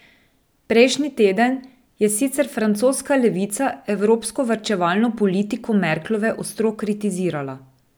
Prejšnji teden je sicer francoska levica evropsko varčevalno politiko Merklove ostro kritizirala.